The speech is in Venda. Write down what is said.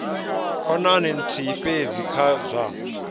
khonani nthihi fhedzi kha zwa